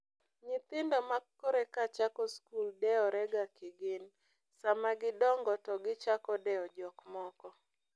Nyithindo makoreka chako skul dewore ga kigin. sama gidongo to gichako dewo jokmoko.